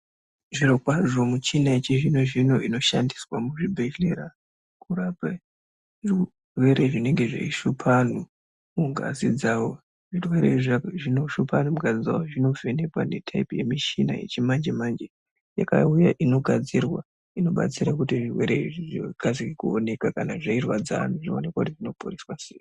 Zvirokwazvo michina yechizvino zvino inoshandiswa muzvibhedhlera kurape zvirwere zvinenge zveishupe vanhu mungazi dzawo zvirwere izvi zvinoshupa ..... zvinovhenekwa netaipi yemushina yechimanje manje yakauya inogadzirwa inobatsira kuti zvirwere izvi zvikasike kuoneka kana zveirwadza anhu zvionekwe kuti zvinoporeswa sei.